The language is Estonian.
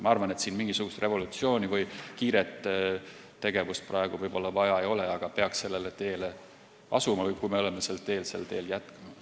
Ma arvan, et siin mingisugust revolutsiooni või kiiret tegevust praegu vaja ei ole, aga peaks sellele teele asuma või kui me oleme sellel teel, siis sel teel jätkama.